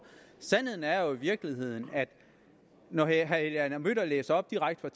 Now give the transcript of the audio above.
sandheden er jo i virkeligheden at når herre helge adam møller læser op direkte